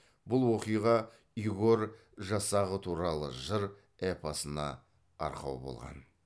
бұл оқиға игорь жасағы туралы жыр эпосына арқау болған